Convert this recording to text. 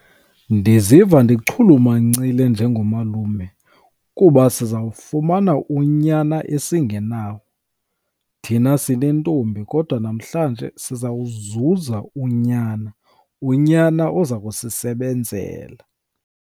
Ndiziva ndichulumancile njengomalume kuba siza kufumana unyana esingenawo. Thina sine ntombi kodwa namhlanje siza kuzuza unyana, unyana oza kusisebenzela.